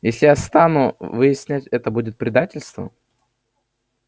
если я стану выяснять это будет предательство